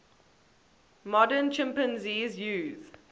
modern chimpanzees use